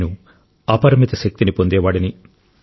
నేను అపరిమిత శక్తిని పొందేవాడిని